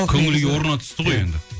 көңіл күй орнына түсті ғой енді